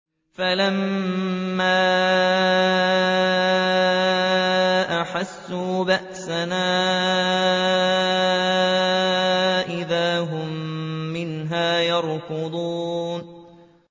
فَلَمَّا أَحَسُّوا بَأْسَنَا إِذَا هُم مِّنْهَا يَرْكُضُونَ